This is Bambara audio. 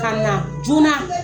Ka na joona.